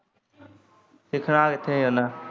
ਸਿੱਖਣਾ ਕਿੱਥੇ ਉਨ।